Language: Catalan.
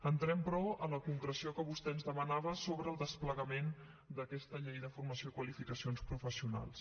entrem però a la concreció que vostè ens demanava sobre el desplegament d’aquesta llei de formació i qualificacions professionals